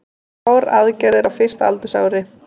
Þrjár aðgerðir á fyrsta aldursári